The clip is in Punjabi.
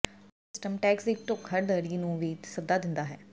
ਇਹ ਸਿਸਟਮ ਟੈਕਸ ਦੀ ਧੋਖਾਧੜੀ ਨੂੰ ਵੀ ਸੱਦਾ ਦਿੰਦਾ ਹੈ